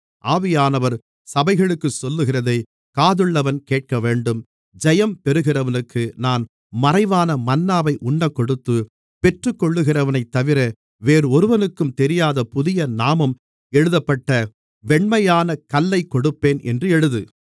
ஆவியானவர் சபைகளுக்குச் சொல்லுகிறதைக் காதுள்ளவன் கேட்கவேண்டும் ஜெயம் பெறுகிறவனுக்கு நான் மறைவான மன்னாவை உண்ணக்கொடுத்து பெற்றுக்கொள்கிறவனைத்தவிர வேறொருவனுக்கும் தெரியாத புதிய நாமம் எழுதப்பட்ட வெண்மையானக் கல்லைக் கொடுப்பேன் என்று எழுது